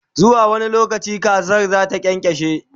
zuwa wani lokaci kazar zata kyankyashe?